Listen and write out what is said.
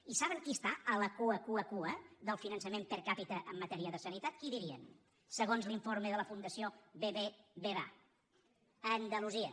i saben qui està a la cua cua cua del finançament per capita en matèria de sanitat qui dirien segons l’informe de la fundació bbva andalusia